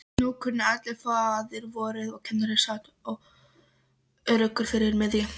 Nú kunnu allir faðirvorið og kennarinn sat öruggur fyrir miðju.